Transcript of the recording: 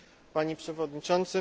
Panie Przewodniczący!